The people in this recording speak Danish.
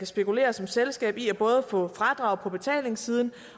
spekulere som selskab i både at få fradrag på betalingssiden